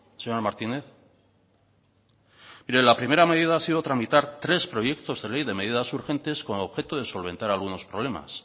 señor martínez mire la primera medida ha sido tramitar tres proyectos de ley de medidas urgentes con objeto de solventar algunos problemas